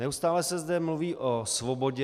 Neustále se zde mluví o svobodě.